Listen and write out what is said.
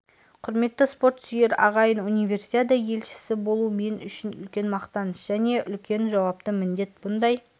құрметті спорт сүйер ағайын универсиада елшісі болу мен үшін үлкен мақтаныш және үлкен жауапты міндет бұндай